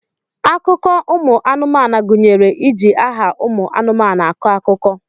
Akụkọ ụmụ anụmanu gunyere iji aha ụmụ anụmanu akọ akụkọ.